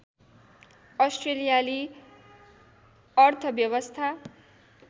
अस्ट्रेलियाली अर्थव्यवस्था